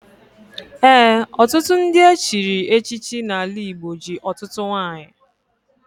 Ee, ọtụtụ ndị echiri echichi n'ala Igbo ji ọtụtụ nwanyị.